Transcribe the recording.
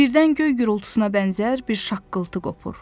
Birdən göy gurultusuna bənzər bir şaqqıltı qopur.